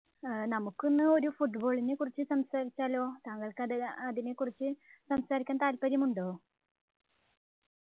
നമുക്കൊന്ന് ഒരു Football നെ കുറിച്ച് സംസാരിച്ചാലോ താങ്കൾക്ക് അത് അതിനെക്കുറിച്ച് സംസാരിക്കാൻ താല്പര്യമുണ്ടോ